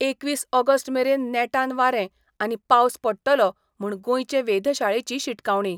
एकवीस ऑगस्टमेरेन नेटान वारें आनी पावस पडटलो म्हूण गोंयचे वेधशाळेची शिटकावणी.